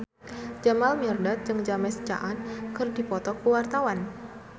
Jamal Mirdad jeung James Caan keur dipoto ku wartawan